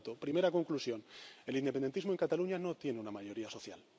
Por tanto, primera conclusión el independentismo en Cataluña no tiene una mayoría social.